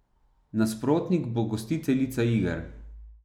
Nasprotnik bo gostiteljica iger.